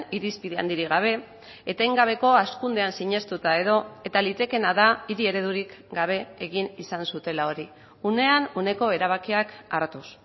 irizpide handirik gabe etengabeko hazkundean sinestuta edo eta litekeena da hiri eredurik gabe egin izan zutela hori unean uneko erabakiak hartuz